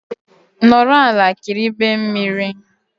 Nọrọ ala kiribe mmiri